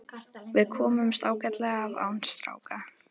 Við komumst ágætlega af án stráka.